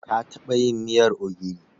Ka taɓa yin miyar ogiri?